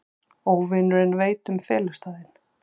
Óvinurinn veit um felustaðinn.